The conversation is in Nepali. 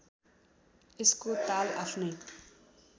यसको ताल आफ्नै